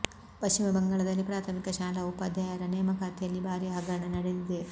ಪಶ್ಚಿಮ ಬಂಗಾಳದಲ್ಲಿ ಪ್ರಾಥಮಿಕ ಶಾಲಾ ಉಪಾಧ್ಯಾಯರ ನೇಮಕಾತಿಯಲ್ಲಿ ಭಾರಿ ಹಗರಣ ನಡೆದಿದೆ